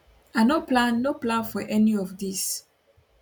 i no plan no plan for any of dis